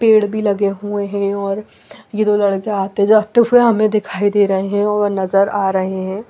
पेड़ भी लगे हुए है और ये दो लड़के आते जाते हुए हमे दिखाई दे रहे है वो नजर आ रहे है।